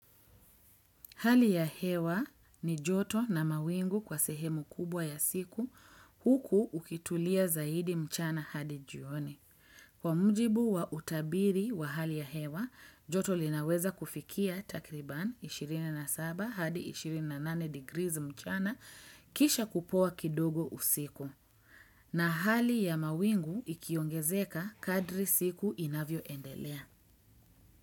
Hali ya hewa ni joto na mawingu kwa sehemu kubwa ya siku huku ukitulia zaidi mchana hadi jioni. Kwa mjibu wa utabiri wa hali ya hewa, joto linaweza kufikia takriban 27 hadi 28 degrees mchana kisha kupoa kidogo usiku. Na hali ya mawingu ikiongezeka kadri siku inavyoendelea.